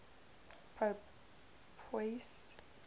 pope pius